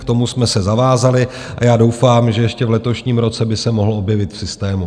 K tomu jsme se zavázali a já doufám, že ještě v letošním roce by se mohl objevit v systému.